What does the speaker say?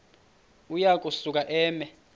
uya kusuka eme